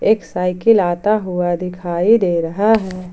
एक साइकिल आता हुआ दिखाई दे रहा है ।